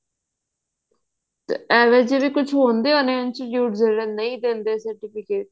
ਏਵੇਂ ਚ ਵੀ ਕੁਛ ਹੁੰਦੇ ਹੋਣੇ institute ਜਿਹੜੇ ਨਹੀਂ ਦਿੰਦੇ certificate